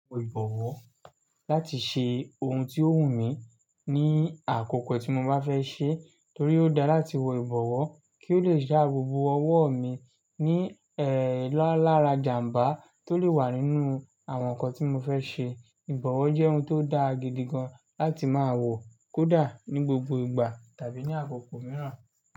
Wo ìbọ̀wọ́ láti ṣe ohun tí ó wù mí ní àkókò tí mo bá fẹ́ ṣe torí ó dáa láti wo ìbọ̀wọ́ kí ó le dá bobo ọwọ́ mi ní ẹ̀ lalára ìjàǹbá tó lè wà nínú àwọn nǹkan tí mo fẹ́ ṣe. Ìbọ̀wọ́ jẹ́ ohun tó dà gidi gan láti máa wò kódà ní gbogbo ìgbà tàbí ní àkókò mìíràn.